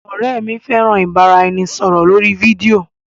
Ọrẹ mi fẹran ibaraẹnisọrọ lori fidio.